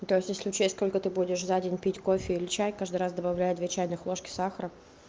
то есть если учесть сколько ты будешь за день пить кофе или чай каждый раз добавляю две чайных ложки сахара